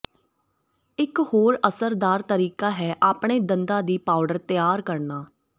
ਇਕ ਹੋਰ ਅਸਰਦਾਰ ਤਰੀਕਾ ਹੈ ਆਪਣੇ ਦੰਦਾਂ ਦੀ ਪਾਊਡਰ ਤਿਆਰ ਕਰਨਾ